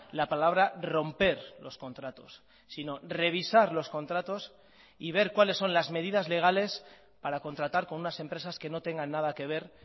la palabra romper los contratos sino revisar los contratos y ver cuáles son las medidas legales para contratar con unas empresas que no tengan nada que ver